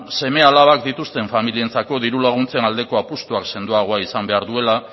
seme alabak dituzten familientzako diru laguntzen aldeko apustuak sendoagoa izan behar duela